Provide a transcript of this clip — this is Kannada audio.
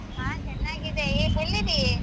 ಹಾ ಚೆನ್ನಾಗಿದೆ ಎಲ್ಲಿದೀ ?